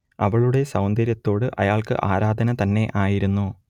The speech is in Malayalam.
അവളുടെ സൗന്ദര്യത്തോട് അയാൾക്ക് ആരാധന തന്നെ ആയിരുന്നു